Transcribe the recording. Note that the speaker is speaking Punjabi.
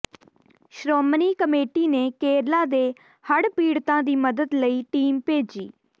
ਸ਼੍ਰੋਮਣੀ ਕਮੇਟੀ ਨੇ ਕੇਰਲਾ ਦੇ ਹੜ੍ਹ ਪੀੜਤਾਂ ਦੀ ਮਦਦ ਲਈ ਟੀਮ ਭੇਜੀ